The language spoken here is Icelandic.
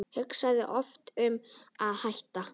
Hugsaði oft um að hætta.